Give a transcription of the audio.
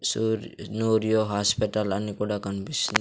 సూర్ నూరియో హాస్పిటల్ అని కూడా కన్పిస్తుంది.